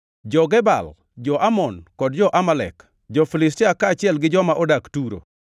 jo-Gebal, jo-Amon kod jo-Amalek, jo-Filistia kaachiel gi joma odak Turo.